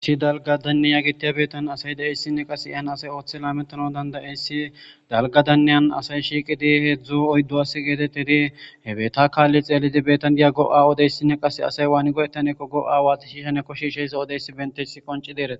Issi dalga danniya gitiya beettan asay da7eyssinne qas iyhan asay ooththe laametano dandayeyssi dalga danneyan asay shiiqidi heedzdzu oyddowass geetettedi he betta kaalli xeellidi betan diya go7awodeyssinne qas asay waani goyettaneekko go7a waati shiishane koshishey zo7odeyssi benteh qonci deeree.